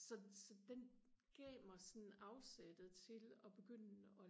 så så den gav mig sådan afsættet til og begynde og